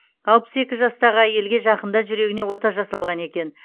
алпыс екі жастағы әйелге жақында жүрегіне ота жасалған екен